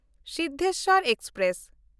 Siddheshwar express